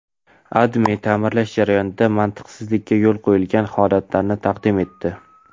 AdMe ta’mirlash jarayonida mantiqsizlikka yo‘l qo‘yilgan holatlarni taqdim etdi.